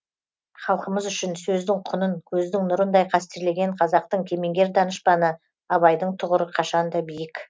халқымыз үшін сөздің құнын көздің нұрындай қастерлеген қазақтың кемеңгер данышпаны абайдың тұғыры қашанда биік